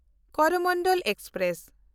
Coromandel express